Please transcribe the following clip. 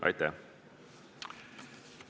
Aitäh!